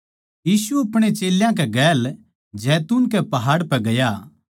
यीशु अपणे चेल्यां कै गेल जैतून कै पहाड़ पै गया